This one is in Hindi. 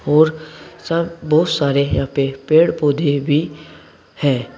और सब बहुत सारे यहां पे पेड़ पौधे भी हैं।